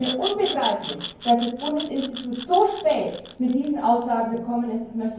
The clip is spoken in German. Es ist mir unbegreiflich, dass das Bundesinstitut so spät mit diesen Aussagen gekommen ist.